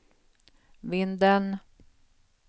Vindeln